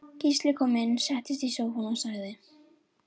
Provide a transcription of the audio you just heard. Gísli kom inn settist í sófann og sagði